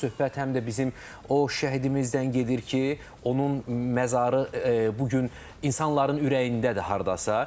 Söhbət həm də bizim o şəhidimizdən gedir ki, onun məzarı bu gün insanların ürəyindədir hardasa.